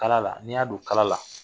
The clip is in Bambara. Kala la n'i y'a don kala la